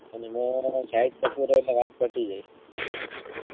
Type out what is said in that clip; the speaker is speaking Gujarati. અને શાહીદ કપૂર હોય તો વાત પતિ ગયી